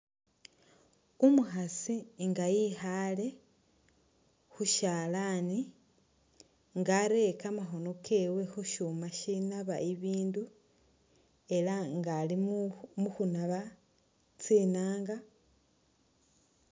Umukhasi nga ikhaale khu syalaani nga areye kamakhono kewe khu shuma shinaba ibindu ela nga ali mu khunaba tsinaanga.